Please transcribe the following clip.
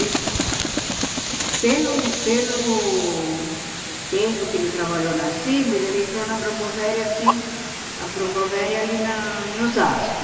E, pelo pelo tempo que ele trabalhou na Cimes, ele entrou na Brombovéria, assim a Brombovéria ali na em Osasco.